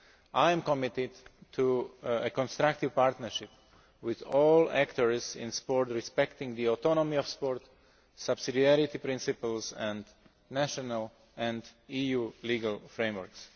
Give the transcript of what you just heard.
I am committed to a constructive partnership with all actors in sport respecting the autonomy of sport, subsidiarity principles and national and EU legal frameworks.